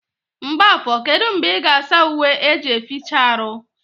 Mgbafo kedụ mgbe ị ga asa uwe eji eficha arụ?